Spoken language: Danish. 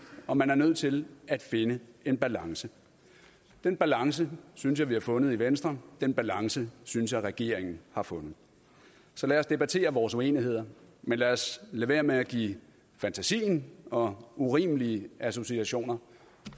og man er nødt til at finde en balance den balance synes jeg vi har fundet i venstre den balance synes jeg regeringen har fundet så lad os debattere vores uenigheder men lad os lade være med at give fantasien og urimelige associationer